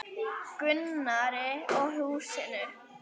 Gunnari og húsinu.